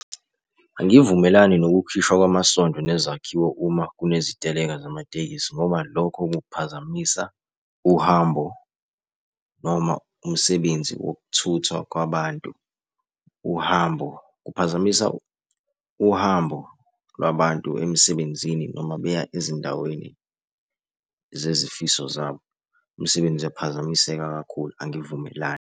Angivumelani nokukhishwa kwamasondo nezakhiwo uma kuneziteleka zamatekisi ngoba lokho kuphazamisa uhambo noma umsebenzi wokuthuthwa kwabantu. Uhambo, kuphazamisa uhambo lwabantu emsebenzini noma beya ezindaweni zezifiso zabo. Umsebenzi uyaphazamiseka kakhulu, angivumelani.